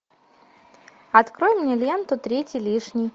открой мне ленту третий лишний